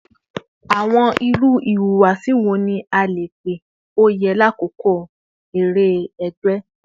Awọn iru ihuwasi wo ni a ka pe o yẹ lakoko awọn ere ẹgbẹ?